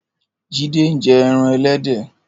Jide n jè èràn èlèdè